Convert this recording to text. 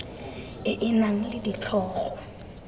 e e nang le ditlhogo